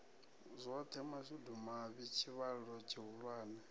zwoṱhe mashudu mavhi tshivhalo tshihulwane